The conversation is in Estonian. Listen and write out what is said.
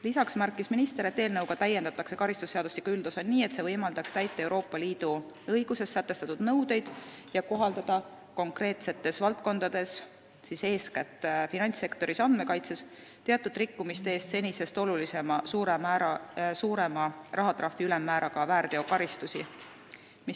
Lisaks märkis minister, et eelnõuga täiendatakse karistusseadustiku üldosa nii, et see võimaldaks täita Euroopa Liidu õiguses sätestatud nõudeid ja kohaldada konkreetsetes valdkondades teatud rikkumiste eest senisest kõrgema rahatrahvi ülemmääraga väärteokaristusi.